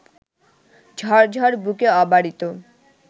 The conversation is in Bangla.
ঝরঝর বুকে অবারিত